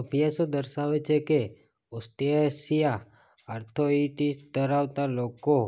અભ્યાસો દર્શાવે છે કે ઑસ્ટિયોઆર્થ્રાઇટિસ ધરાવતા લોકો